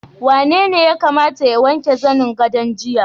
Wanene ya kamata ya wanke zanen gadon jiya?